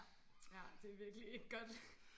Ja det virkelig ikke godt